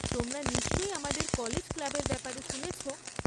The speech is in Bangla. তোমরা নিশ্চয়ই আমাদের কলেজ ক্লাবের ব্যাপারে শুনেছ?